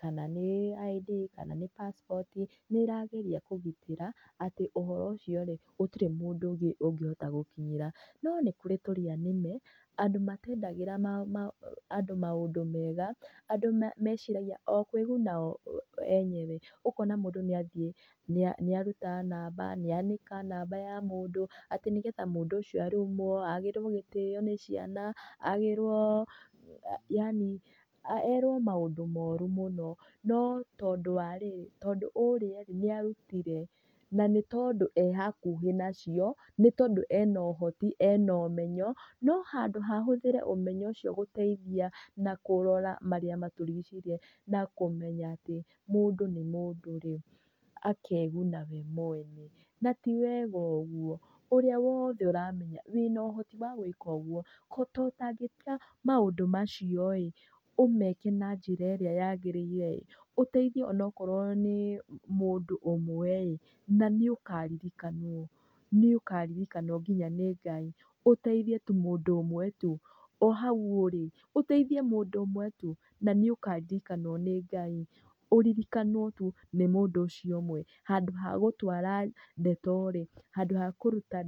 kana nĩ ID kana nĩ passport nĩ ĩrageria kũgitĩra atĩ ũhoro ũcio rĩ, gũtĩrĩ mũndũ ũngĩ ũngĩhota gũkinyĩra. No nĩkũrĩ tũrĩa nĩme, andũ matendagĩra andũ maũndũ mega, andũ meciragia o kwĩguna o enyewe. Ũkona mũndũ nĩ athiĩ nĩ aruta namba nĩanĩka namba ya mũndũ atĩ nĩgetha mũndũ ũcio arumwo, agĩrwo gĩtĩo nĩ ciana yaani erwo maũndũ moru mũno, no tondũ wa rĩrĩ, tondũ ũrĩa rĩ nĩ arutire na nĩ tondũ e hakuhĩ nacio, nĩ tondũ ena ũhoti ena ũmenyo no handũ ha ahũthĩre ũmenyo ũcio gũteithia na kũrora marĩa matũrigicĩirie na kũmenya atĩ mũndũ nĩ mũndũ rĩ, akeguna we mwene na ti wega ũguo. Ũrĩa wothe ũramenya wĩna ũhoti wa gwĩka ũguo to ũtagĩtiga maũndũ macio ĩ ũmeke na njĩra ĩrĩa yagĩrĩire ĩ , ũteithie ona okorwo nĩ mũndũ ũmwe ĩ, na nĩ ũkaririkanwo, nĩ ũkaririkanwo nginya nĩ Ngai, ũteithie tu mũndũ ũmwe tu, o hau ũrĩ ũteithie mũndũ ũmwe tu na nĩ ũkaririkanwo nĩ Ngai, ũririkanwo tu nĩ mũndũ ũcio ũmwe. Handũ ha gũtwara ndeto rĩ handũ ha kũrũta...